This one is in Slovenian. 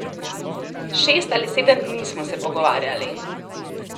Šest ali sedem dni smo se pogovarjali.